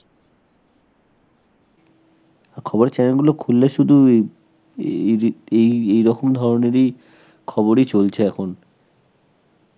আর খবরে channel গুলো খুললে শুধু এই~ এরই~ এই এইরকম ধরনেরই খবরই চলছে এখন.